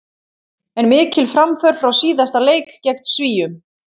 En mikil framför frá síðasta leik gegn Svíum.